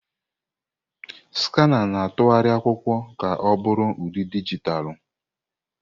Skanà na-atụgharị akwụkwọ ka ọ bụrụ ụdị dijitalụ.